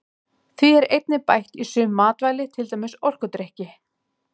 Því er einnig bætt í sum matvæli til dæmis orkudrykki.